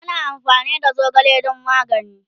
ana amfani da zogale dan magani